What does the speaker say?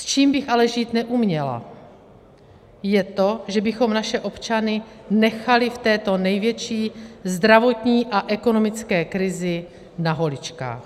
S čím bych ale žít neuměla, je to, že bychom naše občany nechali v této největší zdravotní a ekonomické krizi na holičkách.